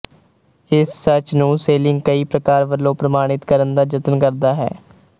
ਇਸ ਸੱਚ ਨੂੰ ਸ਼ੇਲਿੰਗ ਕਈ ਪ੍ਰਕਾਰ ਵਲੋਂ ਪ੍ਰਮਾਣਿਤ ਕਰਣ ਦਾ ਜਤਨ ਕਰਦਾ ਹੈ